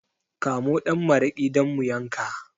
Kamo ɗan maraƙi don mu yanka